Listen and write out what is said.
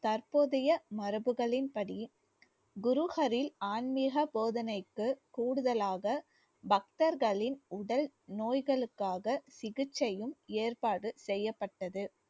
தற்போதைய மரபுகளின்படி குரு ஹரில் ஆன்மீக போதனைக்கு கூடுதலாக பக்தர்களின் உடல் நோய்களுக்காக சிகிச்சையும் ஏற்பாடு செய்யப்பட்டது